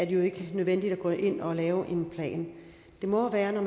jo ikke nødvendigt at gå ind og lave en plan det må være når